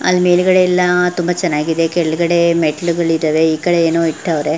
ಅಲ್ಲಿ ಮೇಲ್ಗಡೆ ಎಲ್ಲ ತುಂಬ ಚೆನ್ನಾಗಿದೆ ಕೆಳಗೆಡೆ ಮೆಟ್ಟಿಲುಗಳು ಇದ್ದವೇ ಈಕಡೆ ಏನೋ ಇಟ್ಟವ್ರೆ.